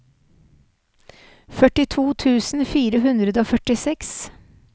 førtito tusen fire hundre og førtiseks